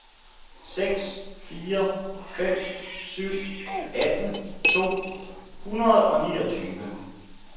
seks fire fem syv atten to hundrede og niogtyve